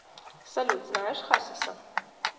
салют знаешь хасиса